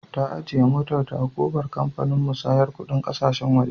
Ta ajiye motarta a ƙofar kamfanin musayar kuɗin ƙasashen waje.